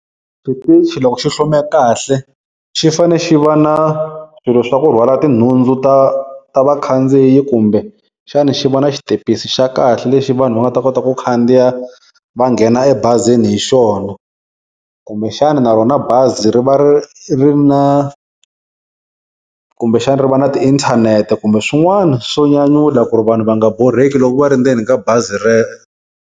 Xitichi loko xi hlome kahle xi fane xi va na swilo swa ku rhwala tinhundzu ta ta vakhandziyi kumbe xana xi va na xitepisi xa kahle lexi vanhu va nga ta kota ku khandiya va nghena ebazini hi xona, kumbe xana na rona bazi ri va ri ri na kumbe xana ri va na tiinthanete, kumbe swin'wana swo nyanyula ku ri vanhu va nga borheki loko va ri ndzeni ka bazi .